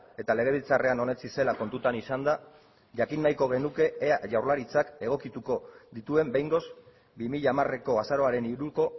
eta legebiltzarrean onetsi zela kontutan izanda jakin nahiko genuke ea jaurlaritzak egokituko dituen behingoz bi mila hamareko azaroaren hiruko